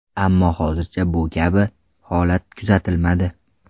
Ammo hozircha bu kabi holat kuzatilmadi.